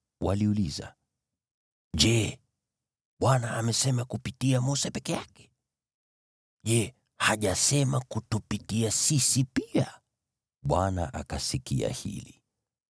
Waliuliza, “Je, Bwana amesema kupitia Mose peke yake? Je, hajasema kutupitia sisi pia?” Naye Bwana akasikia hili.